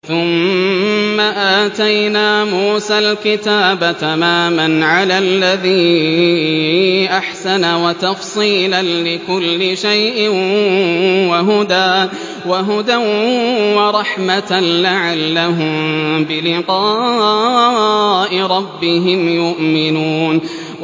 ثُمَّ آتَيْنَا مُوسَى الْكِتَابَ تَمَامًا عَلَى الَّذِي أَحْسَنَ وَتَفْصِيلًا لِّكُلِّ شَيْءٍ وَهُدًى وَرَحْمَةً لَّعَلَّهُم بِلِقَاءِ رَبِّهِمْ يُؤْمِنُونَ